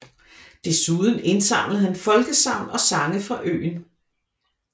Dessuden indsamlede han folkesagn og sange fra øen